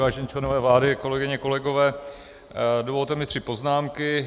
Vážení členové vlády, kolegyně, kolegové, dovolte mi tři poznámky.